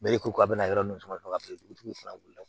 ka bina yɔrɔ min kɔnɔ ka botigiw fana wuli ka na